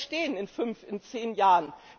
Wo wollen wir stehen, in fünf, in zehn Jahren?